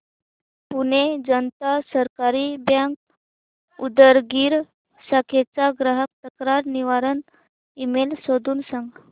पुणे जनता सहकारी बँक उदगीर शाखेचा ग्राहक तक्रार निवारण ईमेल शोधून सांग